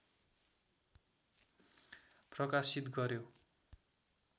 प्रकाशित गर्‍यो